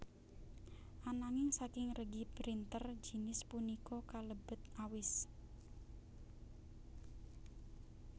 Ananging saking regi printer jinis punika kalebet awis